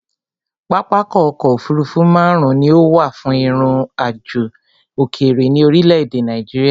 Pápákọ̀ ọ̀kọ òfurufú máàrún ni ó wà fún ìrìn àjò òkèrè ní orílé èdè Nàìjíría